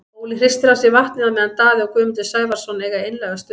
Óli hristir af sér vatnið á meðan Daði og Guðmundur Sævarsson eiga einlæga stund.